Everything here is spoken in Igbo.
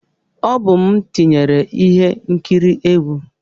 Ọ bụ m tinyere ihe nkiri egwu.